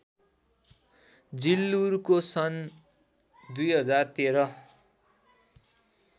जिल्लुरको सन् २०१३